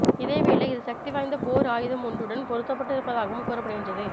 இதேவேளை இது சக்தி வாய்ந்த போர் ஆயுதம் ஒன்றுடன் பொருத்தப்பட்டிருப்பதாகவும் கூறப்படுகின்றது